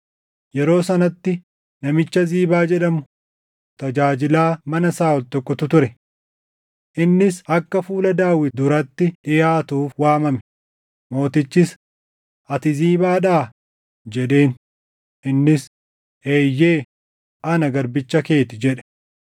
Yeroo sanatti namicha Ziibaa jedhamu tajaajilaa mana Saaʼol tokkotu ture. Innis akka fuula Daawit duratti dhiʼaatuuf waamame; mootichis, “Ati Ziibaadhaa?” jedheen. Innis, “Eeyyee, ana garbicha kee ti” jedhe.